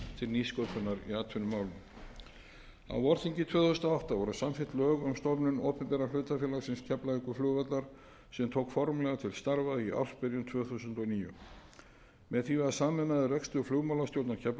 nýsköpunar í atvinnumálum á vorþingi tvö þúsund og átta voru samþykkt lög um stofnun opinbera hlutafélagsins keflavíkurflugvallar sem tók formlega til starfa í ársbyrjun tvö þúsund og níu með því var sameinaður rekstur flugmálastjórnar keflavíkurflugvallar